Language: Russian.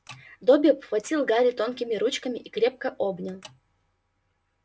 добби обхватил гарри тонкими ручками и крепко обнял